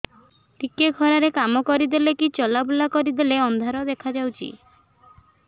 ଟିକେ ଖରା ରେ କାମ କରିଦେଲେ କି ଚଲବୁଲା କରିଦେଲେ ଅନ୍ଧାର ଦେଖା ହଉଚି